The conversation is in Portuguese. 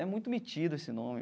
É muito metido esse nome.